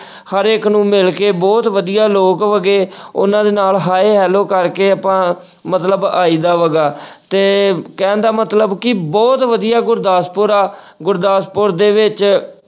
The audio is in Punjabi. ਹਰੇਕ ਨੂੰ ਮਿਲ ਕੇ ਬਹੁਤ ਵਧੀਆ ਲੋਕ ਹੈਗੇ ਉਹਨਾਂ ਦੇ ਨਾਲ hi hello ਕਰਕੇ ਆਪਾਂ ਮਤਲਬ ਆਈਦਾ ਹੈਗਾ ਤੇ ਕਹਿਣ ਦਾ ਮਤਲਬ ਕਿ ਬਹੁਤ ਵਧੀਆ ਗੁਰਦਾਸਪੁਰ ਆ ਗੁਰਦਾਸਪੁਰ ਦੇ ਵਿੱਚ